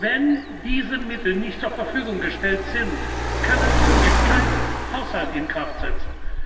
Wenn diese Mittel nicht zur Verfügung gestellt sind, können wir keinen Haushalt in Kraft setzen.